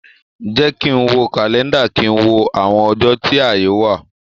Jẹ́ kí ń wo kàlẹ́ńdà, kí ń wo àwọn ọjọ́ tí ààyè wà.